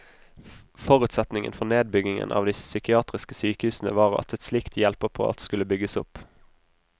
Forutsetningen for nedbyggingen av de psykiatriske sykehusene var at et slikt hjelpeapparat skulle bygges opp.